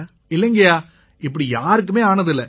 இல்லைங்கய்யா இப்படி யாருக்குமே ஆனதில்லை